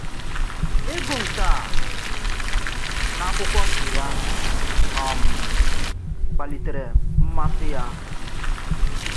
Ìgụ̀ nkè à n’ákwụ́kwọ̀ nke yà um kpalìtèrè m̀màsị̀ yà.